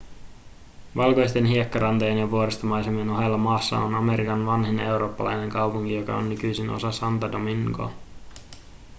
valkoisten hiekkarantojen ja vuoristomaisemien ohella maassa on amerikan vanhin eurooppalainen kaupunki joka on nykyisin osa santo domingoa